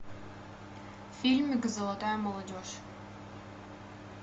фильмик золотая молодежь